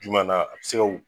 Juma na sew